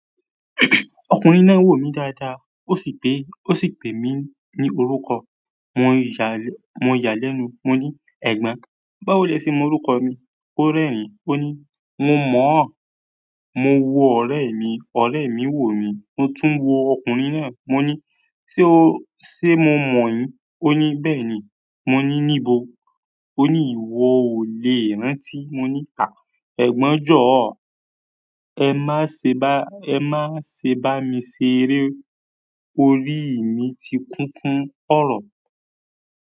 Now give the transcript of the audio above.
Ọkùnrin náà n wò mí dáadáa, ó sì pè, ó sì pè mí ní orúkọ. Mo ya lẹ́nu, mo ní "Ẹ̀gbọ́n, báwo lẹ ṣe mọ orúkọ mi?" Ó rẹ́rìn-ín, ó ní "Mo mọ̀ ọ. Mo wo ọ̀rẹ́ mi, ọ̀rẹ́ mi wò mí." Mo tún wo ọkùnrin náà, mo ní "Ṣé o, ṣé mo mọ̀ yín?" Ó ní "Bẹ́ẹ̀ni." Mo ní "Níbo?" Ó ní "Ìwo ò lè rántí." Mo ní "À! Ẹ̀gbọ́n jọ̀ọ́, ẹ má ṣe bá, ẹ má ṣe bá mi ṣeré. Orí mi ti kún fún ọ̀rọ̀."